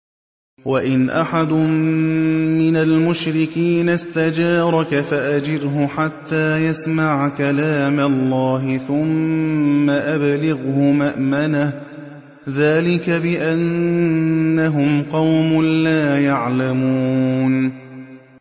وَإِنْ أَحَدٌ مِّنَ الْمُشْرِكِينَ اسْتَجَارَكَ فَأَجِرْهُ حَتَّىٰ يَسْمَعَ كَلَامَ اللَّهِ ثُمَّ أَبْلِغْهُ مَأْمَنَهُ ۚ ذَٰلِكَ بِأَنَّهُمْ قَوْمٌ لَّا يَعْلَمُونَ